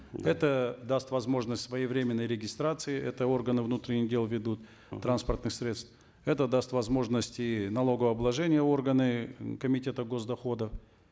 это даст возможность своевременной регистрации это органы внутренних дел ведут транспортных средств это даст возможность и налогообложения органы комитета гос доходов